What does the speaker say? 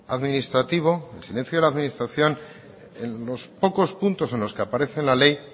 administrativo el silencio de la administración en los pocos puntos en los que aparece en la ley